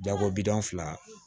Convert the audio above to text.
Dako bidɔn fila